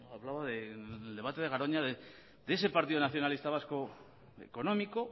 hablaba en el debate de garoña de ese partido nacionalista vasco económico